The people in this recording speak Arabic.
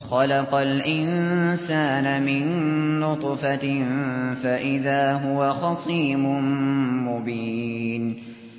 خَلَقَ الْإِنسَانَ مِن نُّطْفَةٍ فَإِذَا هُوَ خَصِيمٌ مُّبِينٌ